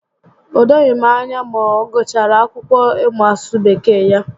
O doghị m anya ma ọ gụchara akwụkwọ ị mụ asụsụ Bekee ya